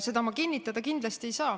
Seda ma kindlasti kinnitada ei saa.